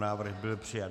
Návrh byl přijat.